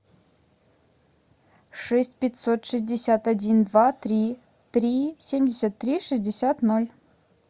шесть пятьсот шестьдесят один два три три семьдесят три шестьдесят ноль